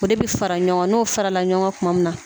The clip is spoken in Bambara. O de be fara ɲɔgɔn kan n'o farala ɲɔgɔn kan kuma min na